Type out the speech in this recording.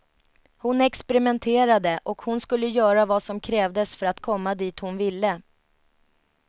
Hon experimenterade, och hon skulle göra vad som krävdes för att komma dit hon ville.